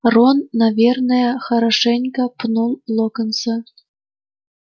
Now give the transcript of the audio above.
рон наверное хорошенько пнул локонса